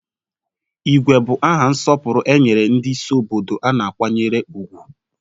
Igwe bụ aha nsọpụrụ e nyere ndị isi obodo a na-akwanyere ùgwù.